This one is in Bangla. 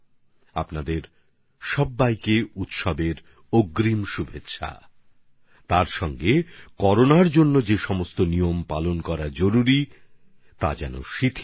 আপনাদের সবাইকে উৎসবের দিনগুলির অগ্রিম শুভকামনা পাশাপাশি করোনা প্রতিরোধে যেসব নিয়ম পালন করতে হবে সেগুলিকে অবহেলা করলে চলবে না